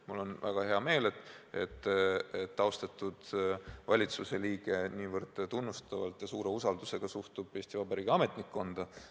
Mul on väga hea meel, et austatud valitsuse liige nii tunnustavalt ja nii suure usaldusega suhtub Eesti Vabariigi ametnikkonda.